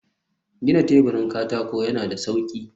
gina teburin katako yana da sauƙi.